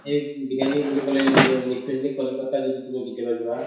এহ বিৰয়ানি বুলি কʼলে এহ specially কলিকতা যদি তুমি কেতিয়াবা যোৱা